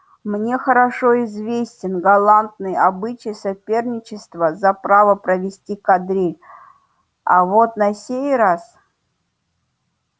мне хорошо известен галантный обычай соперничества за право провести кадриль а вот на сей раз